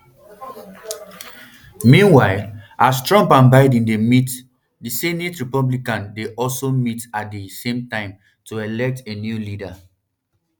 meanwhile as trump and biden dey meet di senate republicans bin also dey meet at di same time to elect a new leader